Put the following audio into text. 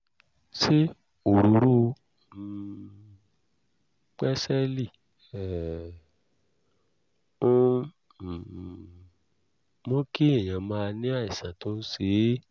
ṣé òróró um pẹ́sélì um ń um mú kí ẹ̀yin máa ní àìsàn tó ń ṣe é?